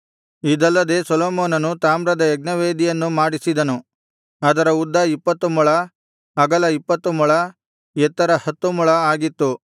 ಇದಲ್ಲದೆ ಸೊಲೊಮೋನನು ತಾಮ್ರದ ಯಜ್ಞವೇದಿಯನ್ನು ಮಾಡಿಸಿದನು ಅದರ ಉದ್ದ ಇಪ್ಪತ್ತು ಮೊಳ ಅಗಲ ಇಪ್ಪತ್ತು ಮೊಳ ಎತ್ತರ ಹತ್ತು ಮೊಳವು ಆಗಿತ್ತು